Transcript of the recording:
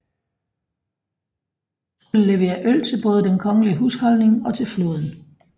Det skulle levere øl til både den kongelige husholdning og til flåden